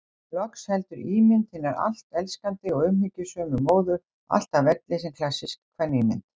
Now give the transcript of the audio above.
Loks heldur ímynd hinar allt elskandi og umhyggjusömu móður, alltaf velli sem klassísk kvenímynd.